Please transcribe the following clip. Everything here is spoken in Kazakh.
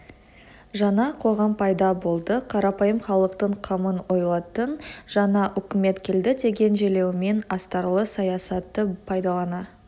жаңа қоғам пайда болды қарапайым халықтың қамын ойлайтын жаңа үкімет келді деген желеумен астарлы саясатты пайдалана